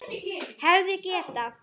Hefði getað.